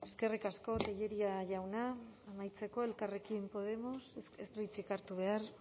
eskerrik asko tellería jauna amaitzeko elkarrekin podemos ez du hitzik hartu behar